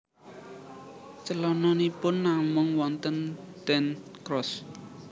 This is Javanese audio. Celononipun namung wonten ten Croozt